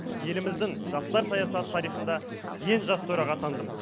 еліміздің жастар саясат тарихында ең жас төраға атандым